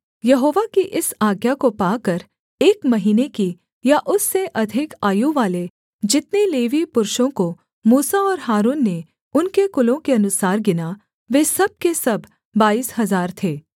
यहोवा की इस आज्ञा को पाकर एक महीने की या उससे अधिक आयु वाले जितने लेवीय पुरुषों को मूसा और हारून ने उनके कुलों के अनुसार गिना वे सब के सब बाईस हजार थे